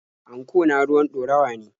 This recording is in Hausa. Anko na ruwan ɗorawa ne.